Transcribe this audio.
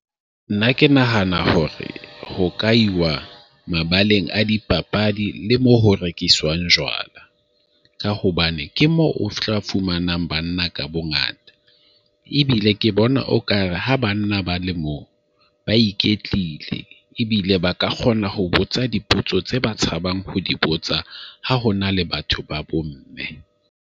Nna ke nahana hore ho ka iwa mabaleng a dipapadi le moo ho rekiswang jwala ka hobane ke mo o tla fumanang banna ka bongata ebile ke bona okare ha banna ba le mo ba iketlile ebile ba ka kgona ho botsa dipotso tse ba tshabang ho di botsa ha hona le batho ba bomme.